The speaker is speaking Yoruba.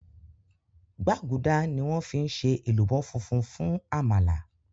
gbágudá ní wón fí ṣe èlùbọ́ fúnfún fún àmàlà